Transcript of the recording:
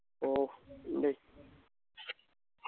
ഓഹ് ഉണ്ട്